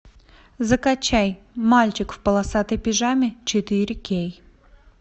закачай мальчик в полосатой пижаме четыре кей